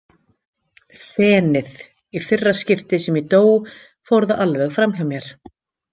FENIÐ Í fyrra skiptið sem ég dó fór það alveg framhjá mér.